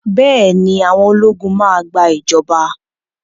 Bẹ́ẹ̀ ni, àwọn ológun máa gbà ìjọba.